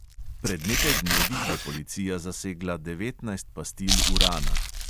Pred nekaj dnevi je policija zasegla devetnajst pastil urana.